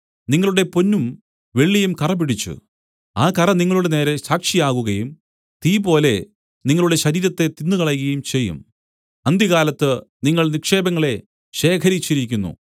നിങ്ങളുടെ പൊന്നും വെള്ളിയും കറപിടിച്ചു ആ കറ നിങ്ങളുടെനേരെ സാക്ഷിയാകുകയും തീപോലെ നിങ്ങളുടെ ശരീരത്തെ തിന്നുകളയുകയും ചെയ്യും അന്ത്യകാലത്ത് നിങ്ങൾ നിക്ഷേപങ്ങളെ ശേഖരിച്ചിരിക്കുന്നു